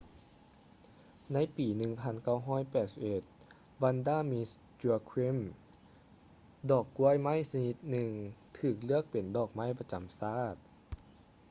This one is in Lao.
ໃນປີ 1981 vanda miss joaquim ດອກກ້ວຍໄມ້ຊະນິດໜຶ່ງຖືກເລືອກເປັນດອກໄມ້ປະຈຳຊາດ